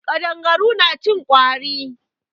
Ƙadangaru na cin ƙwari.